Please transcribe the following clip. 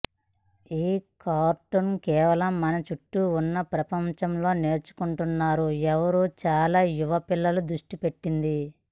ఈ కార్టూన్ కేవలం మన చుట్టూ ఉన్న ప్రపంచంలోని నేర్చుకుంటున్నారు ఎవరు చాలా యువ పిల్లలు దృష్టిపెట్టింది